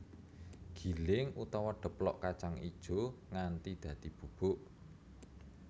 Giling utawa deplok kacang ijo nganti dadi bubuk